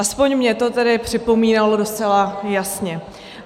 Alespoň mně to tedy připomínalo docela jasně.